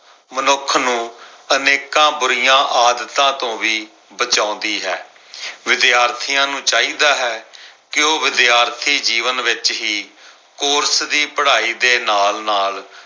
ਮਨੁੱਖ ਨੂੰ ਅਨੇਕਾਂ ਬੁਰੀਆਂ ਆਦਤਾਂ ਤੋਂ ਵੀ ਬਚਾਉਂਦੀ ਹੈ। ਵਿਦਿਆਰਥੀਆਂ ਨੂੰ ਚਾਹੀਦਾ ਹੈ ਕੇ ਉਹ ਵਿਦਿਆਰਥੀ ਜੀਵਨ ਵਿੱਚ ਹੀ ਕੋਰਸ ਦੀ ਪੜ੍ਹਾਈ ਦੇ ਨਾਲ-ਨਾਲ